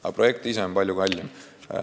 Aga projekt ise on palju kallim.